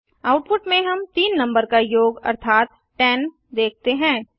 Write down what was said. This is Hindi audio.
आउटपुट में हम तीन नंबर का योग अर्थात 10 देखते हैं